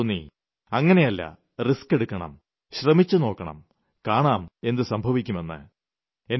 എന്നാൽ എനിയ്ക്ക് തോന്നി അങ്ങിനെയല്ല റിസ്ക് എടുക്കണം ശ്രമിച്ചുനോക്കണം കാണാം എന്തു സംഭവിയ്ക്കുമെന്ന്